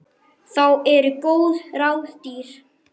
Þá eru góð ráð dýr.